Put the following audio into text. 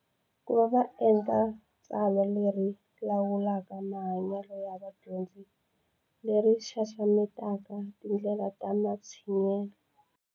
Ku va va endla tsalwa leri lawulaka mahanyelo ya vadyondzi leri xaxametaka tindlela ta matshinyelo.